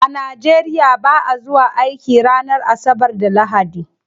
A nigeria ba'a zuwa aiki ranar asabar da lahadi.